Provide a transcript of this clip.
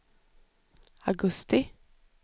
augusti